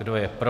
Kdo je pro?